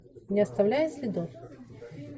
не оставляя следов